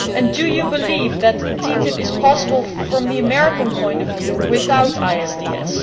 Do you believe that TTIP is possible, from the American point of view, without ISDS?